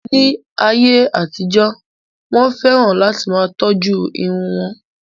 Ní ayé àtijó, Wọ́n fẹ́ràn láti máa tọ́jú irun wọn.